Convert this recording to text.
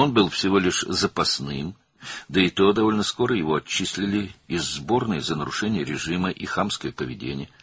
O, sadəcə ehtiyat oyunçu idi, üstəlik tezliklə rejim pozuntusuna və kobud davranışa görə onu yığmadan uzaqlaşdırdılar.